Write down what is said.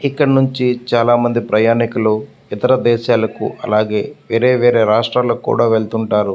ఇక్కడ నించి చాలా మంది ప్రయాణికులు ఇతర దేశాలకు అలాగే వేరే వేరే రాష్ట్రాలకు కూడ వెళ్తుంటారు.